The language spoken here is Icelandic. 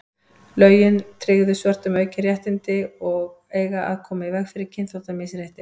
lögin tryggðu svörtum aukin réttindi og eiga að koma í veg fyrir kynþáttamisrétti